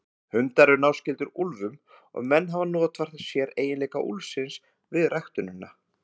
Hundar eru náskyldir úlfum og menn hafa notfært sér eiginleika úlfsins við ræktunina.